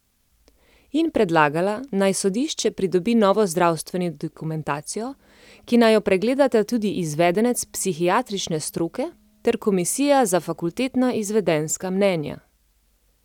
In predlagala, naj sodišče pridobi novo zdravstveno dokumentacijo, ki naj jo pregledata tudi izvedenec psihiatrične stroke ter komisija za fakultetna izvedenska mnenja.